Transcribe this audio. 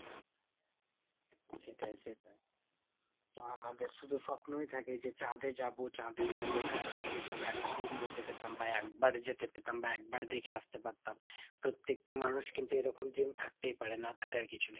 সেটাই সেটাই। তো আমাদের শুধু স্বপ্নই থাকে যে চাঁদে যাবো চাঁদে যাবো। হ্যাঁ চাঁদে যদি একদিন যেতে পেতাম বা একবার যেতে পেতাম বা একবার দেখে আসতে পারতাম। প্রত্যেকটা মানুষ কিন্তু এরকম dream থাকতেই পারে না থাকার কিছু নেই।